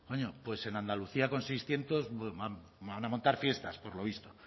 coño pues en andalucía con seiscientos van a montar fiestas por lo visto